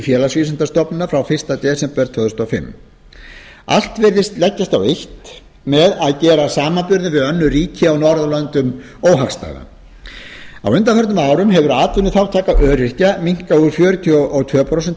félagsvísindastofnunar frá fyrsta desember tvö þúsund og fimm allt virðist leggjast á eitt með að gera samanburð við önnur ríki á norðurlöndum óhagstæðan á undanförnum árum hefur atvinnuþátttaka öryrkja minnkað úr fjörutíu og tvö prósent í þrjátíu